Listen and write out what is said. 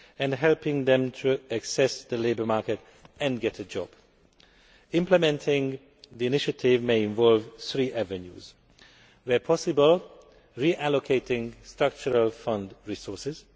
and helping them to access the labour market and get a job. Implementing the initiative may involve three avenues where possible, reallocating Structural Fund resources